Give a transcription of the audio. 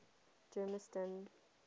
germiston